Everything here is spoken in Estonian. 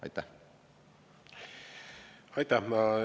Aitäh!